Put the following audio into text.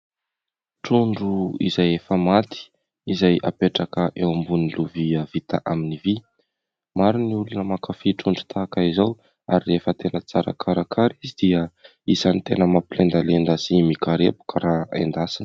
Trondro izay efa maty izay apetraka eo ambonin'ny lovia vita amin'ny vy. Maro ny olona mankafỳ trondro tahaka izao ary rehefa tena tsara karakara izy dia isan'ny tena mampilendalenda sy mikarepoka raha endasina.